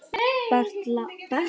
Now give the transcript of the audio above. Bertram, spilaðu lag.